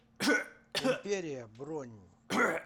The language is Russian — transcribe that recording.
империя бронь